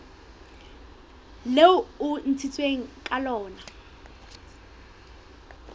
leo e ntshitsweng ka lona